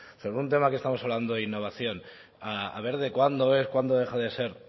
sobre un tema que estamos hablando de innovación a ver de cuándo es cuándo deja de ser